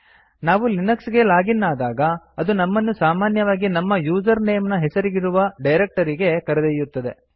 ನಾವು ಲಿನಕ್ಸ್ ಗೆ log in ಆದಾಗ ಅದು ನಮ್ಮನ್ನು ಸಾಮಾನ್ಯವಾಗಿ ನಮ್ಮ ಯೂಸರ್ ನೇಮ್ ನ ಹೆಸರಿರುವ ಡೈರಕ್ಟರಿಗೆ ಕರೆದೊಯ್ಯುತ್ತದೆ